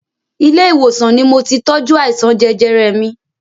Ilé ìwòsàn ni moti tọ́jú àìsàn jẹjẹrẹ mi